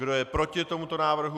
Kdo je proti tomuto návrhu?